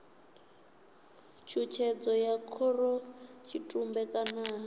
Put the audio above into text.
tshutshedzo ya khorotshitumbe kana ha